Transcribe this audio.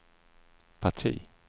parti